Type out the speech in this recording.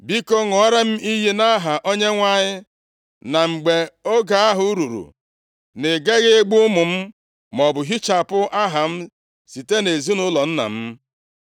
Biko, ṅụọra m iyi nʼaha Onyenwe anyị na mgbe oge ahụ ruru, na ị gaghị egbu ụmụ m, maọbụ hichapụ aha m site nʼezinaụlọ nna m.”